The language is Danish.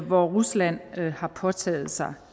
hvor rusland har påtaget sig